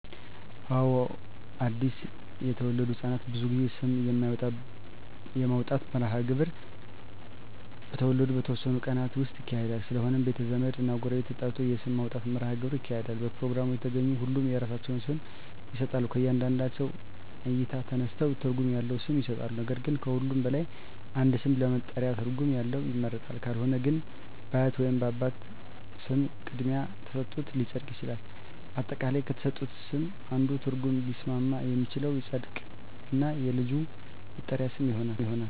አወ አድሰ የተወለዱ ህፃናት ብዙ ጊዜ ስም የማውጣት መርሀ ግብር በተወለዱ በተወሠኑ ቀናት ውስጥ ይካሄዳል ስለሆነም ቤተ ዘመድ እና ጎረቤት ተጠርቶ የስም ማውጣት መራሀ ግብር ይካሄዳል በፕሮግራሙ የተገኙ ሁሉም የራሳቸውን ስም ይሠጣሎ ከእያንዳንዳቸው እይታ ተነስተው ትርጉም ያለው ስም ይሠጣሉ ነገር ግን ከሁሉም በላይ አንድ ስም ለመጠሪያ ትርጉም ያለው ይመረጣል ካልሆነ ግን በአያት ወይንም በአባት ስም ቅድሚያ ተሠጥቶት ሊፀድቅ ይችላል። አጠቃላይ ከተሠጡት ስም አንዱ ትርጉም ሊስማማ የሚችለው ይፀድቅ እና የልጁ መጠሪ ሊሆን ይችላል